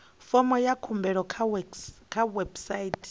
fomo ya khumbelo kha website